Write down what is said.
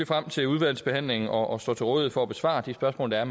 frem til udvalgsbehandlingen og står til rådighed for at besvare de spørgsmål der er